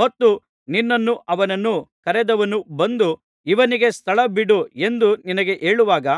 ಮತ್ತು ನಿನ್ನನ್ನೂ ಅವನನ್ನೂ ಕರೆದವನು ಬಂದು ಇವನಿಗೆ ಸ್ಥಳ ಬಿಡು ಎಂದು ನಿನಗೆ ಹೇಳುವಾಗ